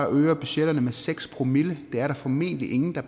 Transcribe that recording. øger budgetterne med seks promille det er der formentlig ingen der